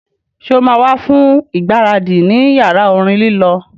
Sọ ma wá fún ìgbáradì ní yàrá orin lílọ